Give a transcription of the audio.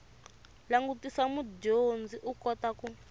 langutisa mudyondzi u kota ku